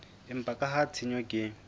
empa ka ha tshenyo ke